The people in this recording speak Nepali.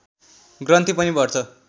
ग्रन्थि पनि बढ्छ